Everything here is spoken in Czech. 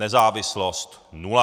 Nezávislost nula.